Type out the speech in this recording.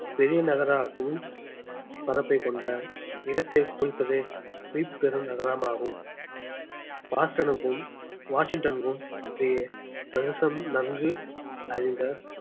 பெரிய நகராகவும் பரப்பைக் கொண்ட இடத்தைக் குறிப்பது மீப்பெரு நகரமாகும் பாஸ்டனுக்கும் வாஷிங்டன்க்கும் இடையே பிரதேசம் நன்கு அறிந்த